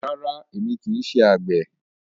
Rárá, èmi kì í ṣe àgbẹ̀.